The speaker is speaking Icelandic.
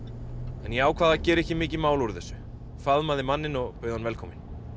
ég ákvað að gera ekki mikið mál úr þessu faðmaði manninn og bauð hann velkominn